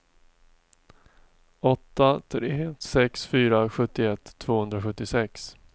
åtta tre sex fyra sjuttioett tvåhundrasjuttiosex